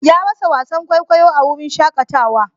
Ya rasa wasan kwaikwayo a wurin shakatawa.